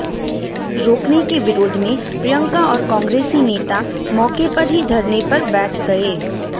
रोकने के विरोध में प्रियंका और कांग्रेसी नेता मौके पर ही धरने पर बैठ गए